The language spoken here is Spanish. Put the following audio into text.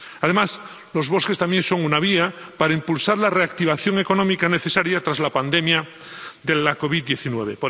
Además, los bosques también son una vía para impulsar la reactivación económica necesaria tras la pandemia de la COVID 19